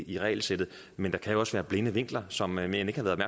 i regelsættet men der kan jo også være blinde vinkler som man ikke har været